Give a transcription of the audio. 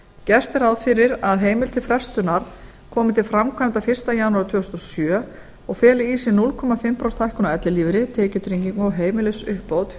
gert er ráð fyrir að heimild til frestunar komi til framkvæmda fyrsta janúar tvö þúsund og sjö og feli í sér hálft prósent hækkun á ellilífeyri tekjutrygging og heimilisuppbót